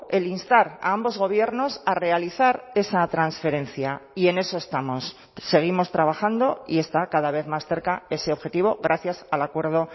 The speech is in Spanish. el instar a ambos gobiernos a realizar esa transferencia y en eso estamos seguimos trabajando y está cada vez más cerca ese objetivo gracias al acuerdo